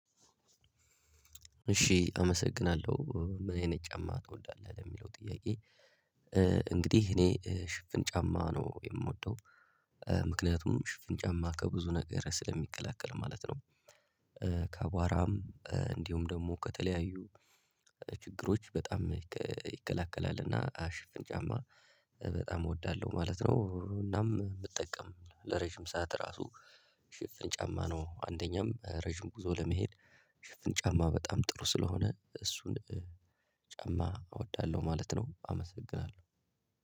እሺ አመሰግናለሁ ምን አይነት ጫማ ትወዳለህ ለሚለው ጥያቄ? እንግዲህ እኔ ሽፍን ጫማ ነው የምወደው ምክንያቱም ሽፍን ጫማ ከብዙ ነገር ስለሚከላከል ማለት ነው። ከአቧራም እንዲሁም ደግሞ ከተለያዩ ችግሮች በጣም ይከለከላል። እና ሽፍን ጫማ በጣም እወዳለሁ ማለት ነው። እናም ብጠቀም ለረጅም ሰዓት ራሱ ሽፍን ጫማ ነው። አንደኛም ረጅም ጉዞ ለመሄድ ሽፍን ጫማ በጣም ጥሩ ስለሆነ እሱን ጫማ እወዳለሁ ማለት ነው። አመሰግናለሁ